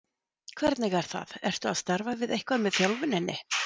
Hvernig er það, ertu að starfa eitthvað með þjálfuninni?